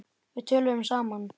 Við töluðum saman.